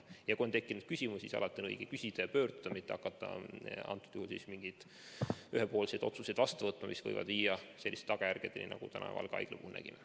Ja kui on küsimusi, siis alati on õige küsida ja kuhugi pöörduda, mitte hakata nagu kõnealusel juhul tegema ühepoolseid otsuseid, mis võivad viia selliste tagajärgedeni, nagu me Valga Haigla puhul näeme.